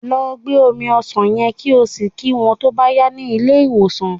Lọ gbé omi ọsàn yen, kí o sì kí wón tó bá yá ní ilé ìwòsàn.